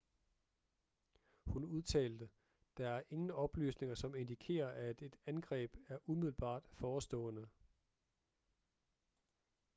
hun udtalte der er ingen oplysninger som indikerer at et angreb er umiddelbart forestående